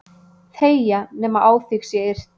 þegja nema á þig sé yrt.